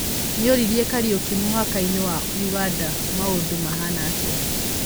Nĩoririe Kariũki mũhakainĩ wa ũganda maũndũmahana atĩa?